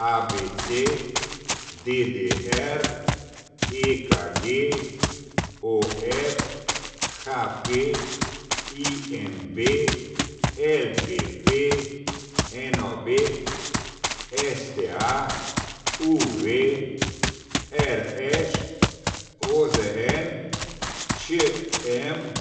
A B C; D D R; E K G; O F; H P; I M V; L P P; N O B; S T A; U V; R Š; O Z N; Č M;